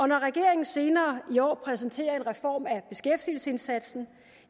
når regeringen senere i år præsenterer en reform af beskæftigelsesindsatsen